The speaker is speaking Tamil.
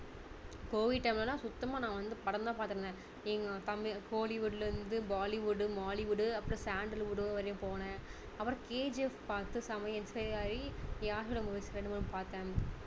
COVID time ல எல்லாம் சுத்தமா நான் வந்து படம் தான் பார்த்துட்டு இருந்தேன் எங்க தம்~ kollywood ல இருந்து bollywood mollywood அப்பறம் sandalwood வரையும் போனேன் அப்பறம் KGF பார்த்து செம்மையா inspire ஆகி யாஷ் ஓட movies ரெண்டு மூணு பார்த்தேன்